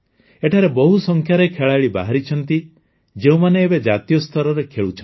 ଏଠାରେ ବହୁ ସଂଖ୍ୟାରେ ଖେଳାଳି ବାହାରିଛନ୍ତି ଯେଉଁମାନେ ଏବେ ଜାତୀୟ ସ୍ତରରେ ଖେଳୁଛନ୍ତି